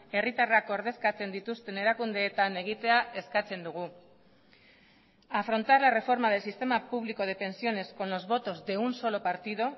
herritarrak ordezkatzen dituzten erakundeetan egitea eskatzen dugu afrontar la reforma del sistema público de pensiones con los votos de un solo partido